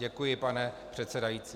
Děkuji, pane předsedající.